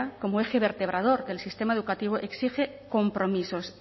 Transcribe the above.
como eje vertebrador del sistema educativo exige compromisos